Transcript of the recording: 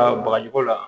bagaji ko la